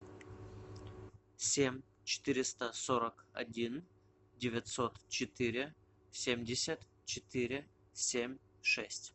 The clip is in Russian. семь четыреста сорок один девятьсот четыре семьдесят четыре семь шесть